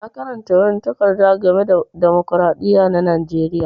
Na karanta wani takarda game da dimokiradiyya na Najeriya.